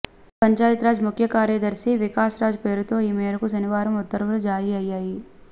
పంచాయతీరాజ్ ముఖ్యకార్యదర్శి వికాస్రాజ్ పేరుతో ఈ మేరకు శనివారం ఉత్తర్వులు జారీ అయ్యాయి